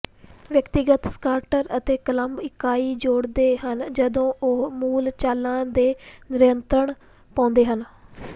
ਵਿਅਕਤੀਗਤ ਸਕਾਰਟਰ ਅਤੇ ਕਲੱਬ ਇਕਾਈ ਜੋੜਦੇ ਹਨ ਜਦੋਂ ਉਹ ਮੂਲ ਚਾਲਾਂ ਤੇ ਨਿਯੰਤਰਣ ਪਾਉਂਦੇ ਹਨ